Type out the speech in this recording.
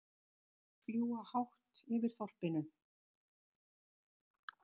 Hrafnarnir fljúga hátt yfir þorpinu.